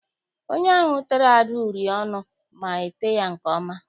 Onye ahụ tere Ada uri ọnụ ma ete ya nke ọma.